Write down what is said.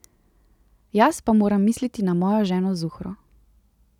Jaz pa moram misliti na mojo ženo Zuhro.